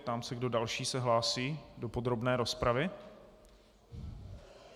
Ptám se, kdo další se hlásí do podrobné rozpravy.